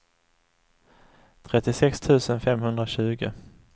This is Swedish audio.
trettiosex tusen femhundratjugo